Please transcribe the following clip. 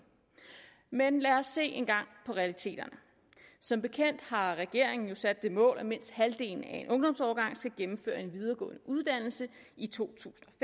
men lad os se engang på realiteterne som bekendt har regeringen sat det mål at mindst halvdelen af en ungdomsårgang skal gennemføre en videregående uddannelse i to